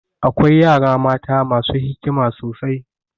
Akwai yara mata masu hikima sosai.